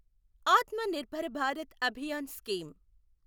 ఆత్మ నిర్భర భారత్ అభియాన్ స్కీమ్